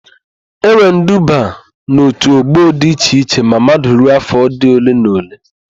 E nwere iduba n'òtù ọ́gbọ̀ di iche iche ma mmadu ruo áfọ̀ dị ole ma ole.